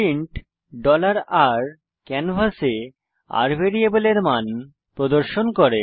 print r ক্যানভাসে r ভ্যারিয়েবলের মান প্রদর্শন করে